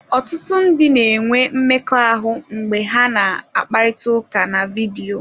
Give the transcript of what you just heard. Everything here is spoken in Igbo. Ọtụtụ ndị na-enwe mmekọahụ mgbe ha na-akparịta ụka na vidiyo.